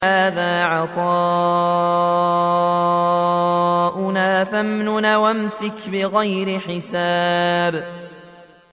هَٰذَا عَطَاؤُنَا فَامْنُنْ أَوْ أَمْسِكْ بِغَيْرِ حِسَابٍ